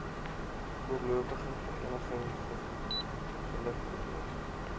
voorlopige vereniging gelikwideer